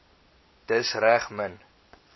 dis reg min